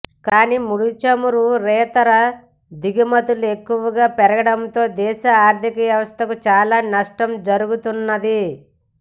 కానీ ముడిచమురేతర దిగుమతులు ఎక్కువగా పెరగడంతో దేశ ఆర్థిక వ్యవస్థకు చాలా నష్టం జరుగుతున్నది